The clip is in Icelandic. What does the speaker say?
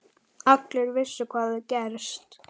Allir vissu hvað hafði gerst.